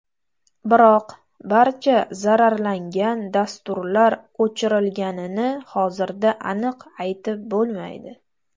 Biroq barcha zararlangan dasturlar o‘chirilganini hozirda aniq aytib bo‘lmaydi.